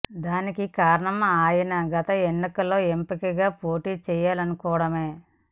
దానికి కారణం ఆయన గత ఎన్నికలలో ఎంపి గా పోటీ చేయలనుకోవడమే